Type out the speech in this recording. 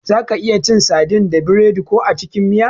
Zaka iya cin sadin da biredi ko a cikin miya.